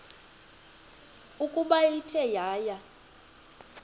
ukuba ithe yaya